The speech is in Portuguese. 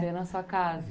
Veio na sua casa?